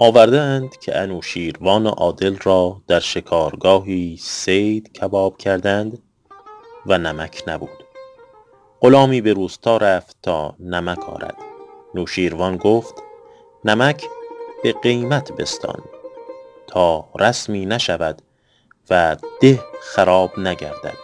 آورده اند که نوشین روان عادل را در شکارگاهی صید کباب کردند و نمک نبود غلامی به روستا رفت تا نمک آرد نوشیروان گفت نمک به قیمت بستان تا رسمی نشود و ده خراب نگردد